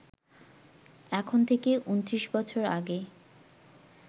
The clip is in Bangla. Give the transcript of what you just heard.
এখন থেকে ২৯ বছর আগে